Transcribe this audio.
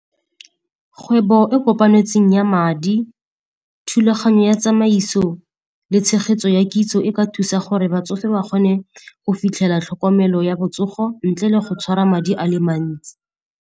Kgwebo e kopanetsweng ya madi, thulaganyo ya tsamaiso le tshegetso ya kitso e ka thusa gore batsofe ba kgone go fitlhela tlhokomelo ya botsogo ntle le go tshwara madi a le mantsi.